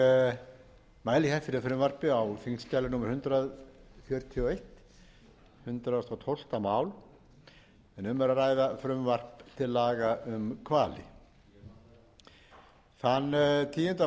ég mæli hér fyrir frumvarpi á þingskjali númer hundrað fjörutíu og eitt hundrað og tólfta mál en um er að ræða frumvarp til laga um hvali þann tíunda